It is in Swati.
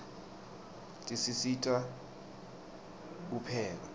tisisita kupheka